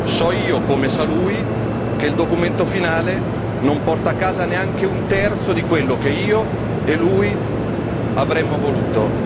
So io, come sa lui, che il documento finale non porta a casa neanche un terzo di quello che io e lui avremmo voluto.